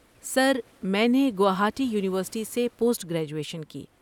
سر، میں نے گوہاٹی یونیورسٹی سے پوسٹ گریجویشن کی۔